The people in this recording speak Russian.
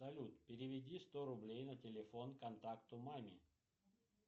салют переведи сто рублей на телефон контакту маме